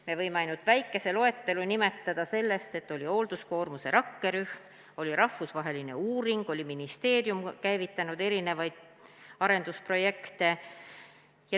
Me võime ainult väikese loetelu nimetada sellest, et oli hoolduskoormuse rakkerühm, oli rahvusvaheline uuring ja ministeerium oli käivitanud arendusprojekte.